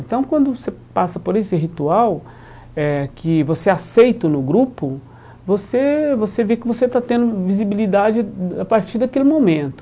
Então, quando você passa por esse ritual eh, que você é aceito no grupo, você você vê que você está tendo visibilidade a partir daquele momento.